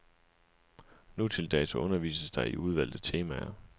Nutildags undervises der i udvalgte temaer.